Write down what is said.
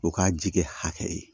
O k'a jikɛ hakɛ ye